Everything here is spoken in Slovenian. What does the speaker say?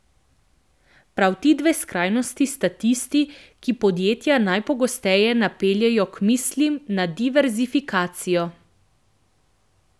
Prav ti dve skrajnosti sta tisti, ki podjetja najpogosteje napeljejo k mislim na diverzifikacijo.